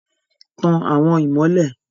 Tan awọn imọlẹ